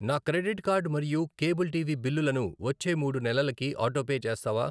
నా credit card మరియు cable TV బిల్లులను వచ్చే మూడు నెలలకి ఆటోపే చేస్తావా?